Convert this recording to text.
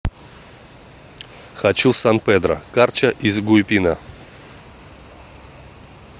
хочу в сан педро карча из гуйпина